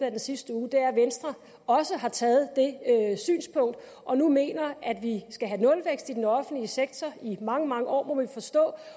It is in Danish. af den sidste uge er at venstre også har taget det synspunkt og nu mener at vi skal have nulvækst i den offentlige sektor i mange mange år må man forstå